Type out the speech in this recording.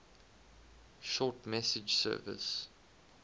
short message service